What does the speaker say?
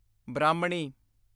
ਬ੍ਰਾਹਮਣੀ